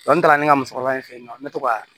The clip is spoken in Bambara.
n taara ne ni ka musokɔrɔba fe yen nɔ ne to ka